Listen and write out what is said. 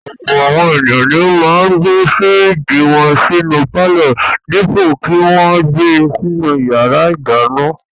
Ọ̀pọ̀ àwọn ènìyàn ni ó máa ń gbé fíríjì wọn sínú pálọ̀ dípò kí wọn gbe sínú ìyàrá-ìdáná.